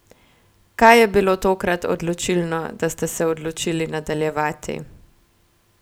Kaj je bilo tokrat odločilno, da ste se odločili nadaljevati?